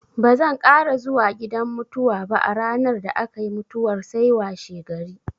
Bazan ƙara zuwa gidan mutuwa ba a ranar da aka yi mutuwar sai washegari.